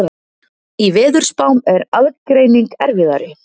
Í veðurspám er aðgreining erfiðari.